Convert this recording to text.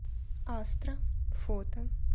астра фото